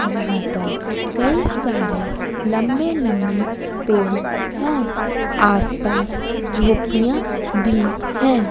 जहाँ पर कई सारे लंबे लंबे पेड़ हैं आसपास झोपड़ियाँ भी हैं।